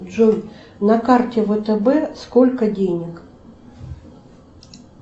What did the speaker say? джой на карте втб сколько денег